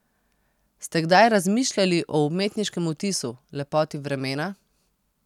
Ste kdaj razmišljali o umetniškem vtisu, lepoti vremena?